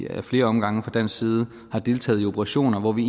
ad flere omgange fra dansk side har deltaget i operationer hvor vi